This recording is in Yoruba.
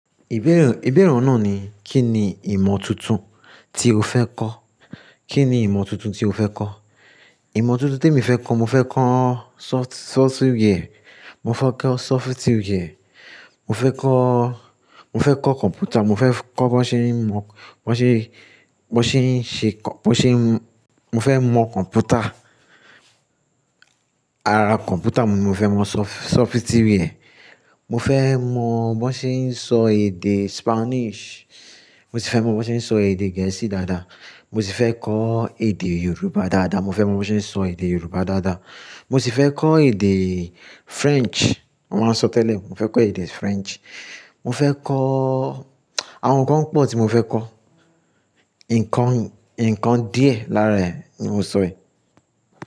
Ìbẹ́ere o náà ni, Kí ni ìmọ̀ tuntun tí o fẹ́ kọ́? Kí ni ìmọ̀ tuntun tí o fẹ́ kọ́? Ìmọ̀ tuntun tí mo fẹ́ kọ́, mo fẹ́ kọ́ soft-software, mo fẹ́ kọ́ sofitiware, mo fẹ́ kọ́, mo fẹ́ kọ́ kọ̀mpútà, mo fẹ́ kọ́ bo n ṣe ń mọ̀, bọ́ n ṣe, bọ́ n ṣe ń ṣe kọ̀-- bọ́ n ṣe ń-- mo fẹ́ mọ̀ kọ̀mpútà, ara kọ̀mpútà, mo fẹ́ mọ̀ soft-sofitiware. Mo fẹ́ mọ̀ bo n ṣe ń sọ èdè Spanish. Mo sì fẹ́ mọ̀ bí wọ́n ṣe ń sọ èdè Gẹ̀ẹ́sì dáadáa. Mo sì fẹ́ kọ́ èdè Yorùbá dáadáa. Mo fẹ́ mọ̀ bí wọ́n ṣe ń sọ èdè Yorùbá dáadáa. Mo sì fẹ́ kọ́ èdè French. Mo máa n sọ tẹ́lẹ̀. Mo fẹ́ kọ́ èdè French. Mo fẹ́ kọ́ àwọn nǹkan pọ̀ tí mo fẹ́ kọ́. Nǹkan, ǹnkan díẹ̀ lára ẹ̀ ni mo sọ è.